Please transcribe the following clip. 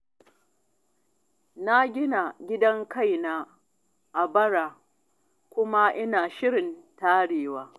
Na gina gidan kaina a bara kuma ina shirin tarewa.